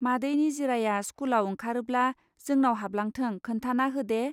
मादै निजिराया स्कुलाव ओंखारोब्ला जोंनाव हाबलांथों खोन्थाना होदे.